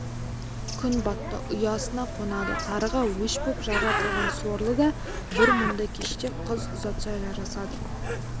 күн батты ұясына қонады тарыға өш боп жаратылған сорлы да бір мұндай кеште қыз ұзатса жарасады